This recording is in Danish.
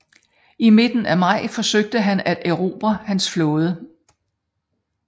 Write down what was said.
I midten af maj forsøgte han at erobre hans flåde